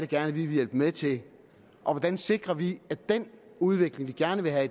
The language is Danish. gerne vil hjælpe med til og hvordan sikrer vi at den udvikling vi gerne vil have